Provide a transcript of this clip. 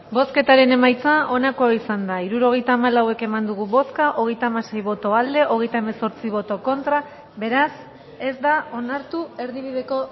bozketaren emaitza onako izan da hirurogeita hamalau eman dugu bozka hogeita hamasei boto aldekoa treinta y ocho contra beraz ez da onartu erdibideko